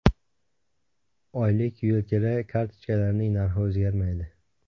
Oylik yo‘lkira kartochkalarining narxi o‘zgarmaydi.